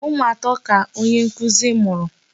Ụmụ atọ ka onye nkụzi mụrụ.